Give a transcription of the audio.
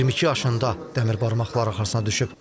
22 yaşında dəmir barmaqlar arxasına düşüb.